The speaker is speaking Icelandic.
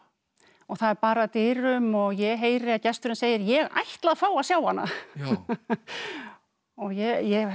og það er barið að dyrum og ég heyri að gesturinn segir ég ætla að fá að sjá hana ég er